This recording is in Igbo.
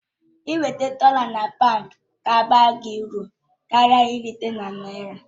Ị nweta dọla na paụnd ga-abara uru karịa irite na naira